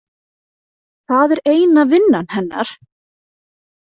Það er eina vinnan hennar?